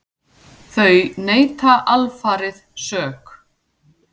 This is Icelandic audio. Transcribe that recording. Þau neita alfarið sök.